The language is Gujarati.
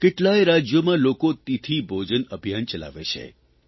કેટલાંય રાજયોમાં લોકો તિથિ ભોજન અભિયાન ચલાવે છે